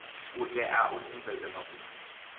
u tea u sumbedza mafhungo